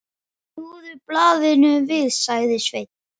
Snúðu blaðinu við, sagði Sveinn.